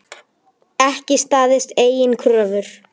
Ekki staðist eigin kröfur.